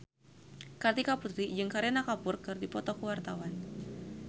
Kartika Putri jeung Kareena Kapoor keur dipoto ku wartawan